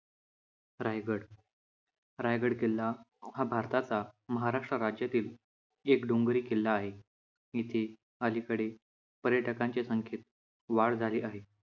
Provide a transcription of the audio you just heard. रायगड. रायगड किल्ला हा भारताचा महाराष्ट्र राज्यातील एक डोंगरी किल्ला आहे. इथे अलीकडे पर्यटकांच्या संख्येत वाढ झाली आहे.